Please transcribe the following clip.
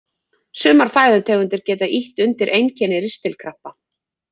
Sumar fæðutegundir geta ýtt undir einkenni ristilkrampa.